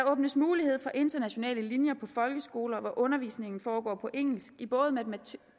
åbnes mulighed for internationale linjer på folkeskoler hvor undervisningen foregår på engelsk i både matematik